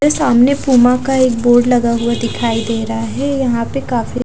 मेरे सामने प्यूम का एक बोर्ड लगा हुआ दिखाई दे रहा है यहाँ पे काफी --